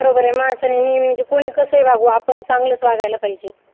बरोबर आहे माणसाने नेहमी म्हणजे कोणी कसेही वागू आपण चांगलं वागायला पाहिजे.